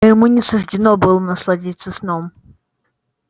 но ему не суждено было насладиться сном